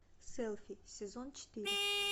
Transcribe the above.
селфи сезон четыре